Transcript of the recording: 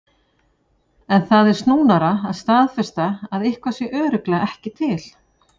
En það er snúnara að staðfesta að eitthvað sé örugglega ekki til.